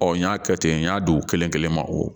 Ɔ n y'a kɛ ten n y'a dogo u kelen kelen ma o